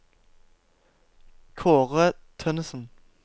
Kaare Tønnesen